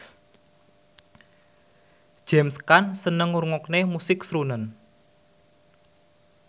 James Caan seneng ngrungokne musik srunen